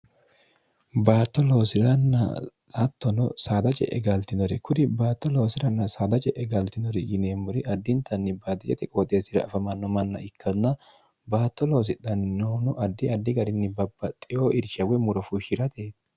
baatto loosi'ranna lattono saada je'e gaaltinore kuri baatto loosiranna saada je'e galtinori yineemmori addintanni baaxijate qooxeesira afamanno manna ikkanna baatto loosidhanninoono addi addi garinni babba xeo irshawe murofuushshi'rate